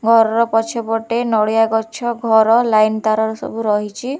ଘରର ପଛ ପଟେ ନଡ଼ିଆ ଗଛ ଘର ଲାଇନ୍ ତାର ସବୁ ରହିଚି।